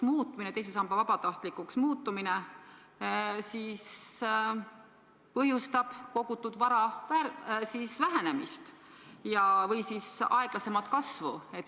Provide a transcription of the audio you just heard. See teise samba vabatahtlikuks muutumine põhjustab kogutud vara vähenemist või siis aeglasemat kasvu.